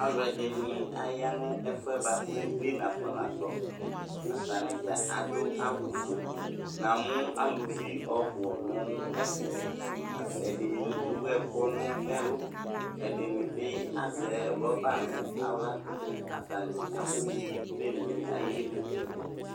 Aluɛde ne aya no ɛfuɛ boako plen afona tɔAtane dza ado awufueNa mu aluvi ɔbu no ɛfɛ At, ɛdene ewu ɛku no ɛlu, ɛde ne be azɛ rɔba no awlaAtane afo wi plene ayili